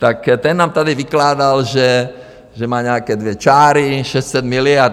Tak ten nám tady vykládal, že má nějaké dvě čáry, 600 miliard.